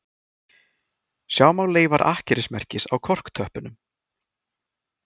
Sjá má leifar akkerismerkis á korktöppunum